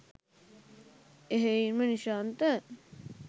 එහෙයින්ම Nishantha